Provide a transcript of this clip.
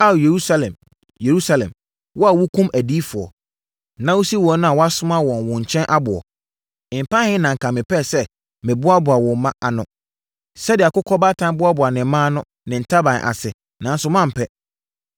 “Ao Yerusalem, Yerusalem, wo a wokum adiyifoɔ, na wosi wɔn a wɔasoma wɔn wo nkyɛn aboɔ, mpɛn ahe na anka mepɛɛ sɛ meboaboa wo mma ano, sɛdeɛ akokɔbaatan boaboa ne mma ano ne ntaban ase, nanso moampɛ!